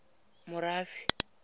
morafe